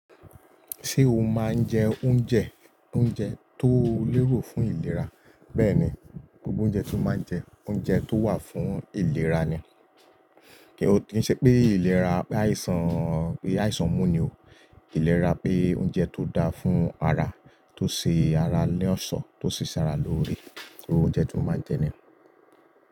Ṣé o máa ń jẹ oúnjẹ, oúnjẹ tó lérò fún ìlera? Bẹ́ẹ̀ni, gbogbo oúnjẹ tí o máa ń jẹ, oúnjẹ tó wà fún ìlera ni. Kín ṣe pé ìlera, pe áìsàn, pé áìsàn mú ni o. Ìlera pé oúnjẹ tó dáa fún ara, tó ṣe ara ni ọ̀ṣọ́, tó ṣí ṣara lóore. Iru oúnjẹ tí mo máa ń jẹ niyen.